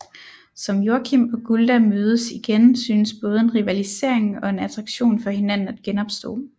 Som Joakim og Gulda mødes igen synes både en rivalisering og en attraktion for hinanden at genopstå